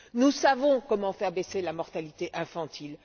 Nous savons comment faire baisser la mortalité infantile.